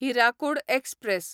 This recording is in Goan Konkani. हिराकूड एक्सप्रॅस